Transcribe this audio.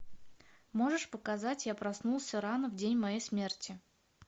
можешь показать я проснулся рано в день моей смерти